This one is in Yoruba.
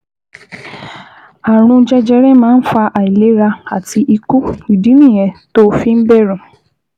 Ààrùn jẹjẹrẹ máa ń fa àìlera àti ikú, ìdí nìyẹn tó o fi ń bẹ̀rù